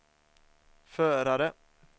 förare